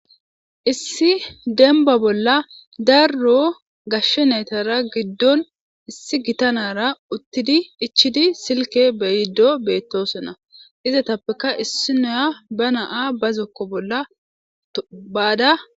issi denba bolla darro gashshe naytara giddon issi gita nara uttidi ichidi silke beyiddo beettosonna izatappeka issi noya ba na'a ba zokko bolla ba'ada